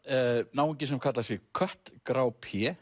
náungi sem kallar sig kött grá